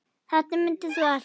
Þetta mundir þú allt.